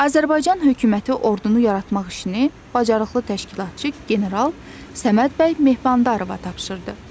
Azərbaycan hökuməti ordunu yaratmaq işini bacarıqlı təşkilatçı, general Səməd bəy Mehmandarova tapşırdı.